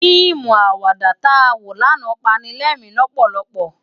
Fiimú àwàdá tá wó làná pàni lèrin lòpòlòpò